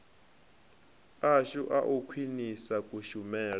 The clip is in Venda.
ashu a u khwinisa kushumele